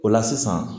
O la sisan